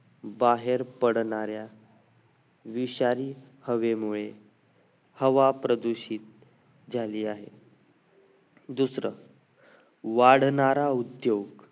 बाहेर पडणाऱ्या विषारी हवेमुळे हवा प्रदूषित झाली आहे दुसरं वाढणारा उद्योग